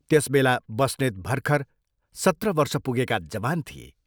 त्यस बेला बस्नेत भर्खर सत्र वर्ष पुगेका जवान थिए।